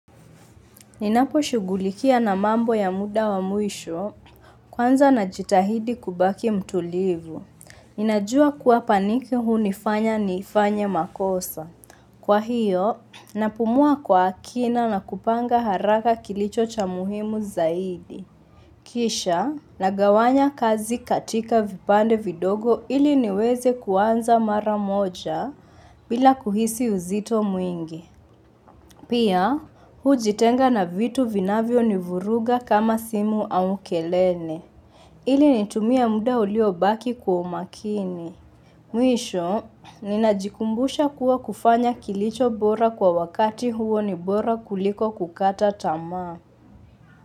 Ninapo shughulikia na mambo ya muda wa mwisho kwanza na jitahidi kubaki mtulivu. Ninajua kuwa paniki hunifanya nifanye makosa. Kwa hiyo, napumua kwa akina na kupanga haraka kilicho cha muhimu zaidi. Kisha, nagawanya kazi katika vipande vidogo ili niweze kuanza mara moja bila kuhisi uzito mwingi. Pia, hujitenga na vitu vinavyo ni vuruga kama simu au kelele ili nitumie muda uliobaki kwa umakini Mwisho, ninajikumbusha kuwa kufanya kilicho bora kwa wakati huo ni bora kuliko kukata tamaa.